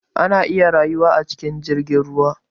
Ana iya rayuwa a cikin jirgin ruwa